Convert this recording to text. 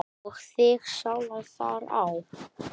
og þig sjálfan þar á.